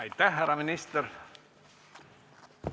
Aitäh, härra minister!